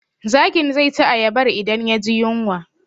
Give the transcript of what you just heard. Zakin zai ci ayabar idan ya ji yunwa